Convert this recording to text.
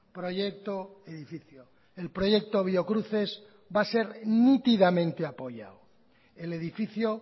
proyecto edificio el proyecto biocruces va a ser nítidamente apoyado el edificio